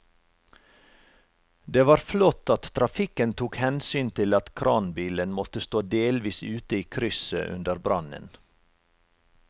Det var flott at trafikken tok hensyn til at kranbilen måtte stå delvis ute i krysset under brannen.